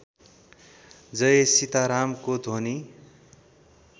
जय सीतारामको ध्वनि